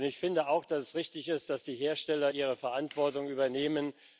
Und ich finde auch, dass es richtig ist, dass die Hersteller ihre Verantwortung übernehmen.